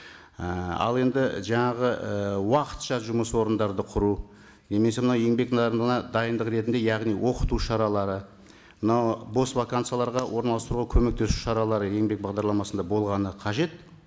ііі ал енді жаңағы і уақытша жұмыс орындарды құру немесе мынау еңбек нарығына дайындық ретінде яғни оқыту шаралары мынау бос вакансияларға орналастыруға көмектесу шаралары еңбек бағдарламасында болғаны қажет